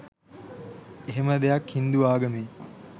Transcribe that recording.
එහෙම දෙයක් හින්දු ආගමේ